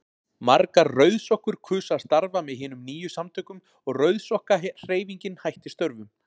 Margar rauðsokkur kusu að starfa með hinum nýju samtökum og Rauðsokkahreyfingin hætti störfum.